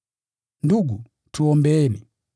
Ndugu, tuombeeni.